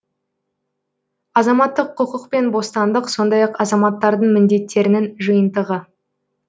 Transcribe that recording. азаматтық құқық пен бостандық сондай ақ азаматтардың міндеттерінің жиынтығы